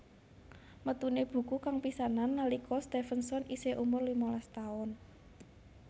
Metuné buku kang pisanan nalika Stevenson isih umur limalas taun